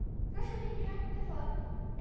Depois eu vim cá, mesmo lá.